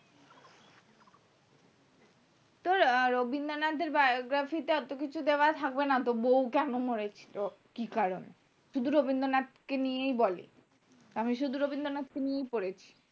তোর রবীন্দ্রনাথ এর biography তে এতো কিছু দেওয়া থাকবে না তো বৌ কেন মরে ছিল কি কারণে শুধু রবীন্দ্রনাথ কে নিয়েই বলে আমি শুধু রবীন্দ্রনাথ কে নিয়েই পড়েছি